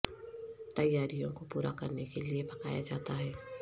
تیاریوں کو پورا کرنے کے لئے پکایا جاتا ہے